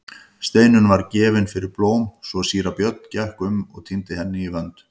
Steinunn var gefin fyrir blóm svo síra Björn gekk um og tíndi henni í vönd.